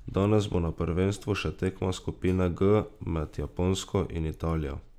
Danes bo na prvenstvu še tekma skupine G med Japonsko in Italijo.